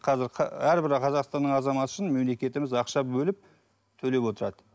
қазір әрбір қазақстанның азаматы үшін мемлекетіміз ақша бөліп төлеп отырады